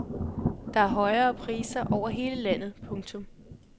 Der er højere priser over hele landet. punktum